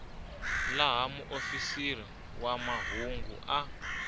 laha muofisiri wa mahungu a